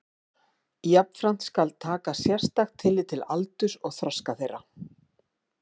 Jafnframt skal taka sérstakt tillit til aldurs og þroska þeirra.